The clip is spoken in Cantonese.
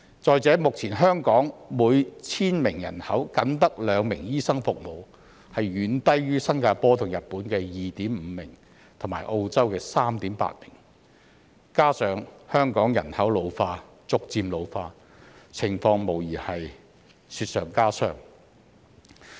再者，目前香港每千名人口僅有兩名醫生，遠低於新加坡和日本的 2.5 名，以及澳洲的 3.8 名，加上香港人口逐漸老化，情況無疑是雪上加霜。